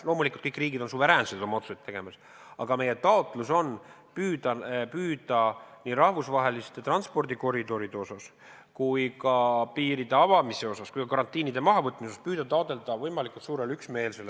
Loomulikult, kõik riigid on suveräänsed oma otsuseid tehes, aga meie taotlus on püüda nii rahvusvaheliste transpordikoridoride osas, piiride avamise osas kui ka karantiinide mahavõtmise osas taotleda võimalikult suurt üksmeelt.